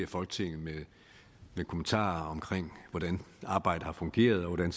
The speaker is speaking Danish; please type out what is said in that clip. folketinget med kommentarer om hvordan arbejdet har fungeret og hvordan